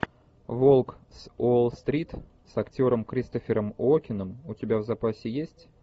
волк с уолл стрит с актером кристофером уокеном у тебя в запасе есть